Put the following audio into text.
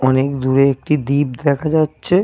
অনেক দূরে একটি দ্বীপ দেখা যাচ্ছে।